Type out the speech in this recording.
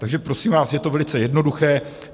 Takže prosím vás, je to velice jednoduché.